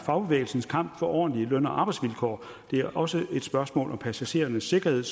fagbevægelsens kamp for ordentlige løn og arbejdsvilkår det er også et spørgsmål om passagerernes sikkerhed